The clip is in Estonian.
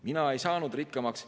Mina ei saanud rikkamaks.